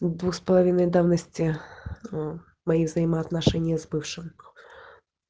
двух с половиной давности мои взаимоотношения с бывшим